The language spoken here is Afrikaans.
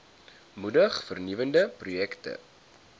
moedig vernuwende projekte